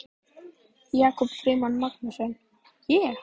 Jakob Frímann Magnússon: Ég?